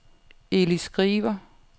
Eli Skriver